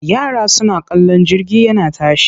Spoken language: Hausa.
Yara suna kallon jirgi yana tashi.